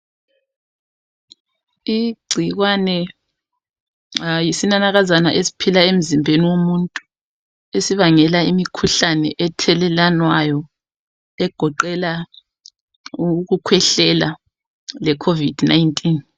Igcikwane yisinanakazana esiphila emzimbeni womuntu esibangela imikhuhlane ethelelwanayo, egoqela ukukhwehlela leCovid19.